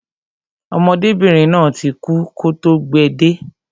Ọmọdébìnrin náà ti kú kọ́ tó gbe de